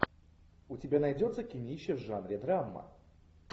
у тебя найдется кинище в жанре драма